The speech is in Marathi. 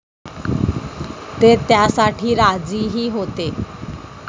ते त्यासाठी राजीही होते.